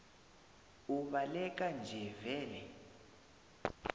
ubaleka nje vele